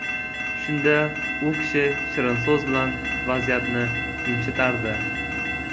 Shunda u kishi shirin so‘z bilan vaziyatni yumshatardi.